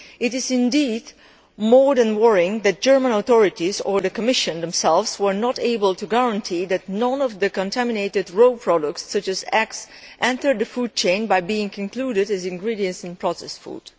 It is indeed more than worrying that the German authorities, and the Commission itself, were not able to guarantee that none of the contaminated raw products, such as eggs, entered the food chain by being included as ingredients in processed food.